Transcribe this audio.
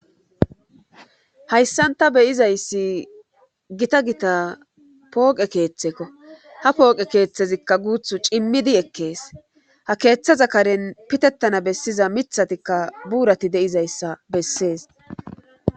Hayssanta beyizayssi gita gita pooqe keeththekko ha pooqe keeththezikka guuthu cimmidi ekkees ha keeththa zakaren pitettana bessiza mithatikka buurati de'izayssa bessees.